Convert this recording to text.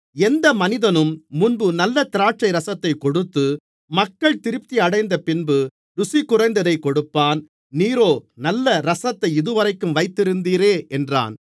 எந்த மனிதனும் முன்பு நல்ல திராட்சைரசத்தைக் கொடுத்து மக்கள் திருப்தியடைந்தபின்பு ருசி குறைந்ததைக் கொடுப்பான் நீரோ நல்ல ரசத்தை இதுவரைக்கும் வைத்திருந்தீரே என்றான்